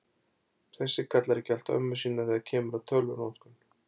Þessi kallar ekki allt ömmu sína þegar kemur að tölvunotkun.